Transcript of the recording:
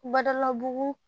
Badalabugu